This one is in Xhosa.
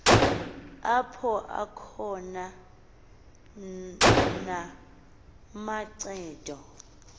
apho akhona namancedo